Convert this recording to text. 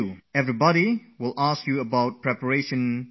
Wherever you go, you will be asked 'How are the preparations going